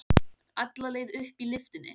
Alla leið upp í lyftunni.